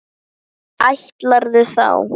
Fá sér stóran hund?